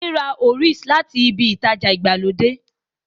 Wùnmí ra Oreos láti ibi ìtajà ìgbàlódé